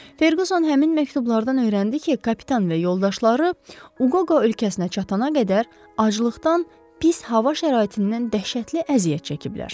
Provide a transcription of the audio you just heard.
Ferkuson həmin məktublardan öyrəndi ki, kapitan və yoldaşları Uqoqo ölkəsinə çatana qədər aclıqdan, pis hava şəraitindən dəhşətli əziyyət çəkiblər.